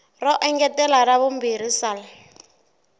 ro engetela ra vumbirhi sal